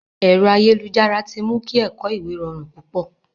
Ẹ̀rọ ayélujára ti mu kí ẹ̀kọ̀ ìwé rọrùn púpọ̀.